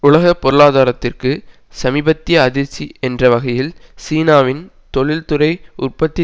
உலக பொருளாதாரத்திற்கு சமீபத்திய அதிர்ச்சி என்ற வகையில் சீனாவின் தொழில்துறை உற்பத்தி